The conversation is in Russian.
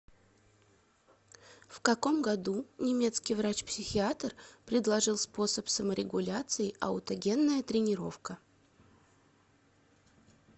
в каком году немецкий врач психиатр предложил способ саморегуляции аутогенная тренировка